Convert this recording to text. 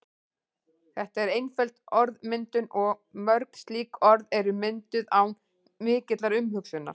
Þetta er einföld orðmyndun og mörg slík orð eru mynduð án mikillar umhugsunar.